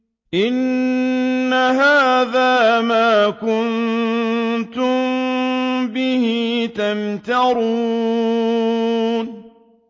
إِنَّ هَٰذَا مَا كُنتُم بِهِ تَمْتَرُونَ